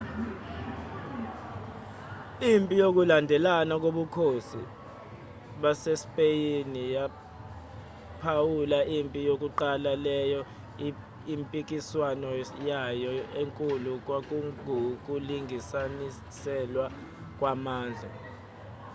impi yokulandelana kobukhosi basespeyini yaphawula impi yokuqala leyo impikiswano yayo enkulu kwakungukulinganiselwa kwamandla